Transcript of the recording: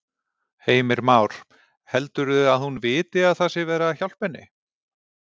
Heimir Már: Heldurðu að hún viti að það sé verið að hjálpa henni?